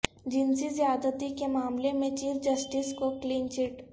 جنسی زیادتی کے معاملے میں چیف جسٹس کو کلین چٹ